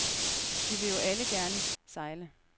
Vi vil jo alle gerne sejle.